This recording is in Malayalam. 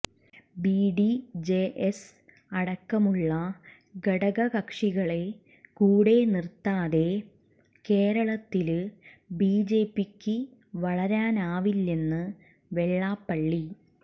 ബിഡിജെഎസ് അടക്കമുള്ള ഘടകകക്ഷികളെ കൂടെ നിര്ത്താതെ കേരളത്തില് ബിജെപിക്ക് വളരാനാവില്ലെന്ന് വെള്ളാപ്പള്ളി